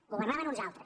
governaven uns altres